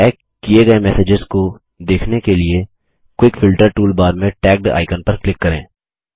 tag किये गये messages को देखने के लिए क्विक फिल्टर टूलबार में टैग्ड आइकन पर क्लिक करें